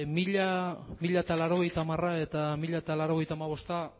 mila laurogeita hamara eta mila